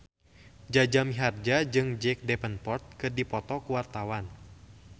Jaja Mihardja jeung Jack Davenport keur dipoto ku wartawan